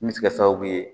Min bɛ se ka kɛ sababu ye